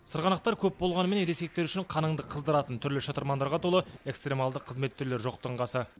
сырғанақтар көп болғанымен ересектер үшін қаныңды қыздыратын түрлі шытырмандарға толы экстремалды қызмет түрлері жоқтың қасы